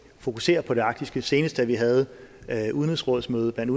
fokuserer på det arktiske senest da vi havde udenrigsrådsmøde blandt